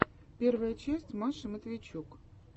первая часть маши матвейчук